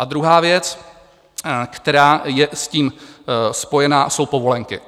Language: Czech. A druhá věc, která je s tím spojená, jsou povolenky.